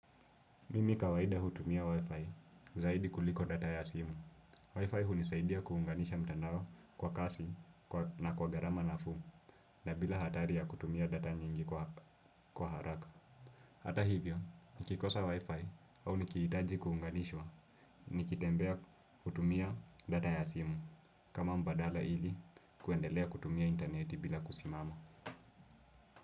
Mimi kawaida hutumia Wi-Fi zaidi kuliko data ya simu. Wi-Fi hunisaidia kuunganisha mtandao kwa kasi na kwa gharama nafuu na bila hatari ya kutumia data nyingi kwa haraka. Hata hivyo, nikikosa Wi-Fi au nikihitaji kuunganishwa nikitembea, hutumia data ya simu kama mbadala ili kuendelea kutumia interneti bila kusimama.